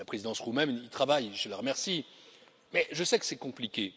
mars. La présidence roumaine y travaille, je l'en remercie, mais je sais que c'est compliqué.